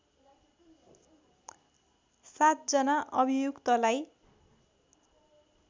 ५ जना अभियुक्तलाई